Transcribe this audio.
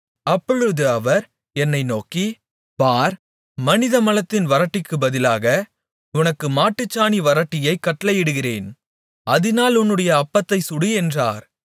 அப்பொழுது அவர் என்னை நோக்கி பார் மனித மலத்தின் வறட்டிக்குப் பதிலாக உனக்கு மாட்டுச்சாணி வறட்டியைக் கட்டளையிடுகிறேன் அதினால் உன்னுடைய அப்பத்தைச் சுடு என்றார்